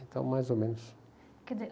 Então, mais ou menos. Quer dizer,